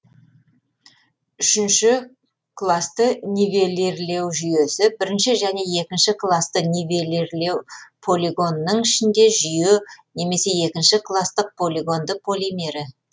үшінші классты нивелирлеу жүйесі бірінші және екінші классты нивелирлеу полигонының ішінде жүйе немесе екінші класстык полигонды полимері